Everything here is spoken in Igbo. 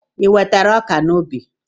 I wetara ọka n'ubi?